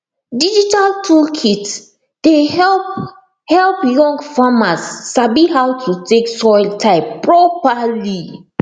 digital tool kit dey help help young farmers sabi how to take soil type properly